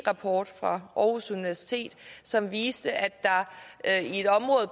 rapport fra aarhus universitet som viste at